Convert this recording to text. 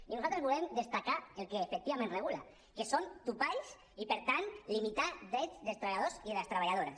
i nosaltres volem destacar el que efectivament regula que són topalls i per tant limitar drets dels treballadors i les treballadores